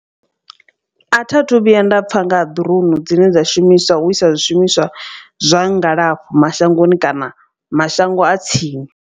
A tha thu vhuya nda pfha nga ha drone dzine dza shumiswa u isa zwishumiswa zwa ngalafho mashangoni kana mashango a tsini.